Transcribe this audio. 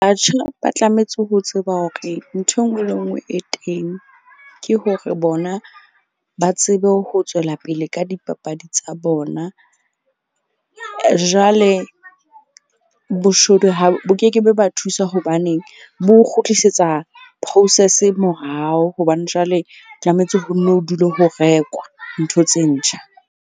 Ba tlametse ho tseba hore ntho e nngwe le e nngwe e teng. Ke hore bona ba tsebe ho tswela pele ka dipapadi tsa bona. Jwale boshodu ha bo ke ke be ba thusa hobaneng bo kgutlisetsa process morao. Hobane jwale tlametse ho nno ho dule ho rekwa ntho tse ntjha.